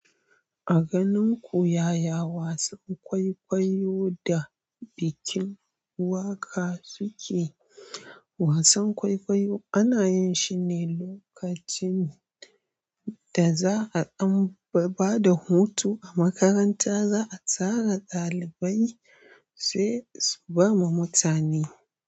A ganin ƙu yaya wasan kwaikwayo da bikin waƙa suke? Wasan kwaikwayo ana yin shi ne lokacin da za a ba da hutu a makaranta, za a tara ɗalibai sai su ba ma mutane.